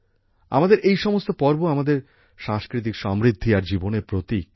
আমাদের এই সমস্ত পর্ব আমাদের সাংস্কৃতিক সমৃদ্ধি আর জীবনের প্রতীক